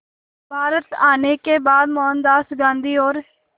भारत आने के बाद मोहनदास गांधी और